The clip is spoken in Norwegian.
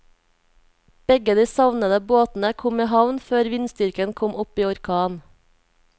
Begge de savnede båtene kom i havn før vindstyrken kom opp i orkan.